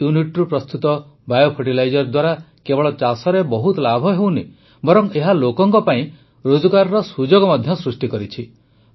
ଏହି ୟୁନିଟ୍ରୁ ପ୍ରସ୍ତୁତ ବାୟୋଫର୍ଟିଲାଇଜର୍ ଦ୍ୱାରା କେବଳ ଚାଷରେ ବହୁତ ଲାଭ ହୋଇନାହିଁ ବରଂ ଏହା ଲୋକଙ୍କ ପାଇଁ ରୋଜଗାରର ସୁଯୋଗ ମଧ୍ୟ ସୃଷ୍ଟି କରିଛି